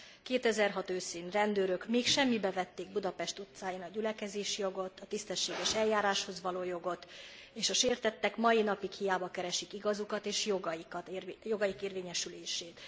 2006 őszén rendőrök még semmibe vették Budapest utcáin a gyülekezési jogot, a tisztességes eljáráshoz való jogot, és a sértettek mai napig hiába keresik igazukat és jogaik érvényesülését.